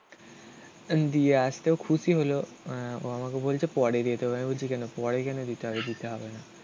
দিয়ে আসতে ও খুশি হলো. ও আমাকে বলছে পরে দিতে হবে. আমি বলছি কেন? পরে কেন দিতে হবে? দিতে হবে না.